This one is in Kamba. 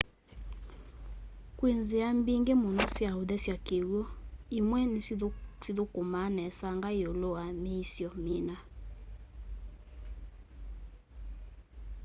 kwĩ nzĩa mbingĩ mũno sya ũthesya kĩw'ũ imwe sithũkũmaa nesanga ĩũlũ wa mĩisyo mĩna